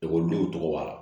Ekɔlidenw tɔgɔ la